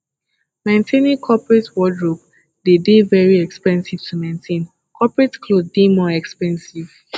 maintaining coperate wordrobe dey de very expensive to maintain coperate cloth dey more expensive